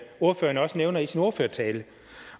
ordføreren også nævner i sin ordførertale